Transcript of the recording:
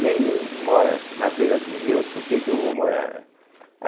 Nem índio mora na beira de Rio, por que que eu vou morar, né?